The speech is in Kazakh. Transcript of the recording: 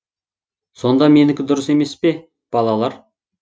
сонда менікі дұрыс емес пе балалар